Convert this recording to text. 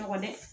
Kɔ dɛ